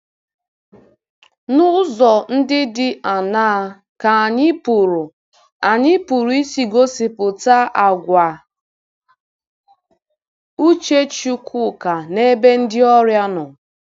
N'ụzọ ndị dị aṅaa ka anyị pụrụ anyị pụrụ isi gosipụta àgwà uche Chukwuka n'ebe ndị ọrịa nọ?